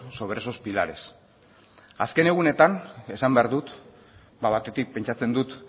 sobre esos pilares azken egunetan esan behar dut batetik pentsatzen dut